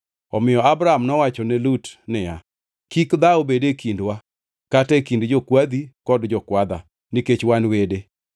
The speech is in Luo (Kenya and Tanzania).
Omiyo Abram nowacho ne Lut niya, “Kik dhawo bed e kindwa kata e kind jokwadhi kod jokwadha nikech wan wede.